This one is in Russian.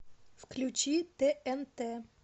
включи тнт